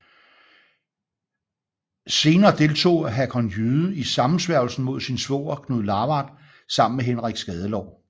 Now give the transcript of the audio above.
Senere deltog Hakon Jyde i sammensværgelsen mod sin svoger Knud Lavard sammen med Henrik Skadelår